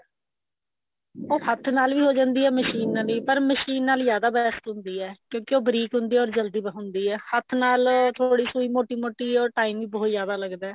ਉਹ ਹੱਥ ਨਾਲ ਈ ਹੋ ਜਾਂਦੀ ਐ ਮਸ਼ੀਨ ਨਾਲ ਵੀ ਪਰ ਮਸ਼ੀਨ ਨਾਲ ਜਿਆਦਾ best ਹੁੰਦੀ ਹੈ ਕਿਉਂਕਿ ਉਹ ਬਰੀਕ ਹੁੰਦੀ ਹੈ ਜਲਦੀ ਹੁੰਦੀ ਹੈ ਹੱਥ ਨਾਲ ਥੋੜੀ ਸੁਈ ਮੋਟੀ ਮੋਟੀ or time ਵੀ ਬਹੁਤ ਜਿਆਦਾ ਲੱਗਦਾ